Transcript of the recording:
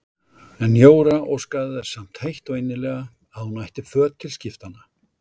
En Jóra óskaði þess samt heitt og innilega að hún ætti föt til skiptanna.